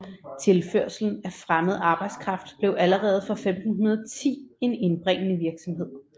Tilførslen af fremmed arbejdskraft blev allerede fra 1510 en indbringende virksomhed